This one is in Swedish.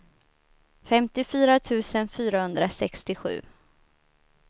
femtiofyra tusen fyrahundrasextiosju